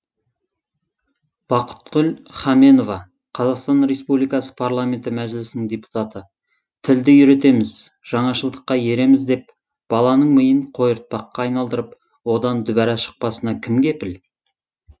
бақытгүл хаменова қазақстан республикасы парламенті мәжілісінің депутаты тілді үйретеміз жаңашылдыққа ереміз деп баланың миын қойыртпаққа айналдырып одан дүбәра шықпасына кім кепіл